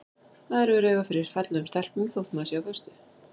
Maður hefur auga fyrir fallegum stelpum þótt maður sé á föstu.